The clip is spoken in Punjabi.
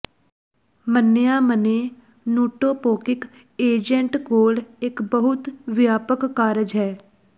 ਮੰਨਿਆ ਮੰਨੇ ਨੂਟੋਪੌਕਿਕ ਏਜੰਟ ਕੋਲ ਇੱਕ ਬਹੁਤ ਵਿਆਪਕ ਕਾਰਜ ਹੈ